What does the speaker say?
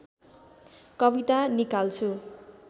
कविता निकाल्छु